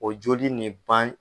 O joli nin ban